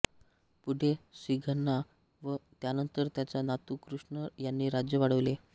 पुढे सिंघण्णा व त्यानंतर त्याचा नातू कृष्ण यांनी राज्य वाढवले